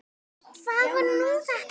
Hvað var nú þetta?